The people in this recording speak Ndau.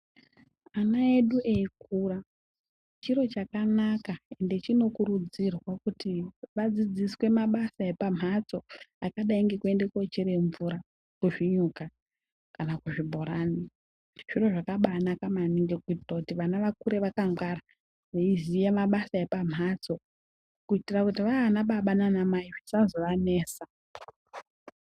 Mwana edu eikura chiro chakanaka ende chinokurudzirwa kuti vadzidziswe mabasa epamhatso akadai ngekuende kochere mvura kuzvinyuka kana kuzvibhorani. Zviro zvakabanaka maningi kuitire kuti vana vakure vakangwara veiziya mabasa epamhatso. Kuitira kuti vaanababa nanamai zvisazoanesa.